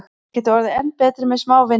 Þeir geta orðið enn betri með smá vinnu.